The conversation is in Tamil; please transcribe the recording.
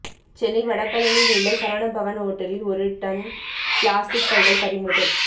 சென்னை வடபழனியில் உள்ள சரவணபவன் ஓட்டலில் ஒரு டன் பிளாஸ்டிக் பைகள் பறிமுதல்